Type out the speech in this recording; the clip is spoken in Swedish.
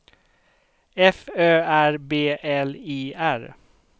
F Ö R B L I R